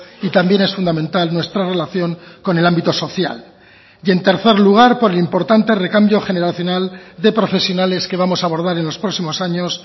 y también es fundamental nuestra relación con el ámbito social y en tercer lugar por el importante recambio generacional de profesionales que vamos a abordar en los próximos años